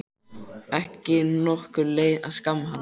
Ekki nokkur leið að skamma hann.